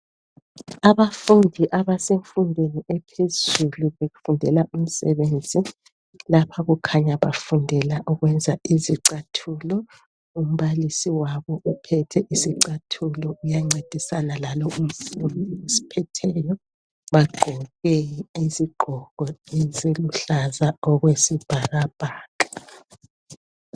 abafundi abasemfundweni ephezulu befundela umsebenzi lapha kukhanya bafundela ukwenza izicathulo umbalisi wabo uphethe isicathulo uyancedisana lalo umfundi bagqoke izigqoko eziluhlaza okwesibhakabhaka